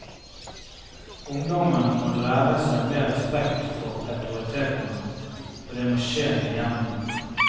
Ungdommen må lære seg mer respekt for autoritetene, og det må skje i hjemmet.